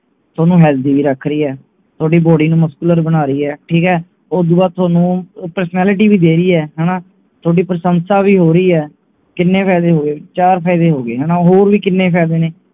ਥੋਨੂੰ healthy ਵੀ ਰੱਖ ਰਹੀ ਹੈ ਥੋਡੀ body ਨੂੰ muscular ਬਣਾ ਰਹੀ ਹੈ ਠੀਕ ਹੈ ਓਦੂੰ ਬਾਅਦ ਥੋਨੂੰ personality ਵੀ ਦੇ ਰਹੀ ਹੈ ਹਣਾ ਥੋਡੀ ਪ੍ਰਸ਼ੰਸਾ ਵੀ ਹੋ ਰਹੀ ਹੈ ਕਿੰਨੇ ਫਾਇਦੇ ਹੋ ਗਏ ਚਾਰ ਫਾਇਦੇ ਹੋ ਗਏ ਹਣਾ ਹੋਰ ਵੀ ਕਿੰਨੇ ਫਾਇਦੇ ਨੇ